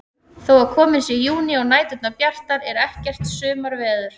Þó að kominn sé júní og næturnar bjartar er ekkert sumarveður.